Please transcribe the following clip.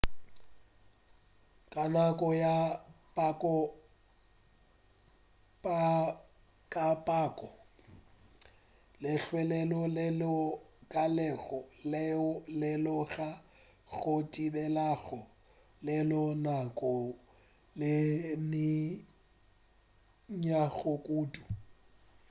ka nako ya kapoko lehlwa leo le lekanego leo le ka go thibelago le na ka nako ye nnyane kudu